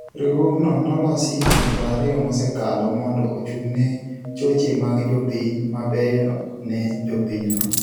Riwruokno nolosi higni 20 mosekalo mondo ochung'ne choche mag jo piny mabeyo ne jopinyno.